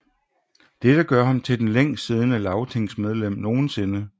Dette gør ham til det længst siddende lagtingmedlem nogensinde